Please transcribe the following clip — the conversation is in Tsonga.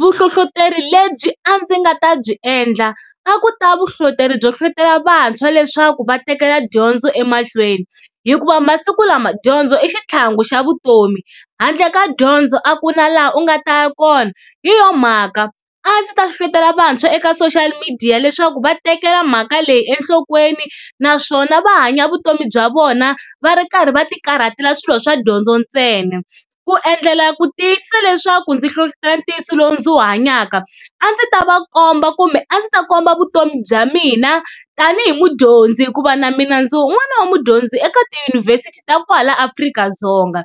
Vuhlohloteri lebyi a ndzi nga ta byi endla a ku ta vuhlohloteri byo hlohlotelo vantshwa leswaku va tekela dyondzo emahlweni hikuva masiku lama dyondzo i xitlhangu xa vutomi, handle ka dyondzo a ku na laha u nga ta ya kona. Hi yo mhaka a ndzi ta hlohlotelo vantshwa eka social media leswaku va tekela mhaka leyi enhlokweni, naswona va hanya vutomi bya vona va ri karhi va ti karhatela swilo swa dyondzo ntsena. Ku endlela ku tiyisisa leswaku ndzi hlohlotela ntiyiso lowu ndzi wu hanyaka a ndzi ta va komba kumbe a ndzi ta komba vutomi bya mina tanihi mudyondzi hikuva na mina ndzi wun'wana wa mudyondzi eka tiyunivhesiti ta kwala Afrika-Dzonga.